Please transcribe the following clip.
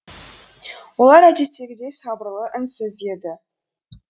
олар әдеттегідей сабырлы үнсіз еді